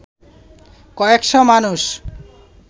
কয়েক’শ মানুষ